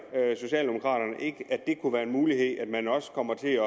socialdemokraterne ikke at det kunne være en mulighed at man også kommer til at